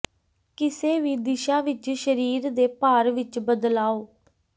ਕਿਸੇ ਵੀ ਦਿਸ਼ਾ ਵਿੱਚ ਸਰੀਰ ਦੇ ਭਾਰ ਵਿੱਚ ਬਦਲਾਓ